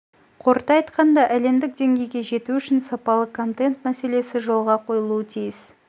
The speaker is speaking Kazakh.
қорыта айтқанда әлемдік деңгейге жету үшін сапалы контент мәселесі жолға қойылуы тиіс